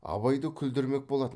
абайды күлдірмек болатын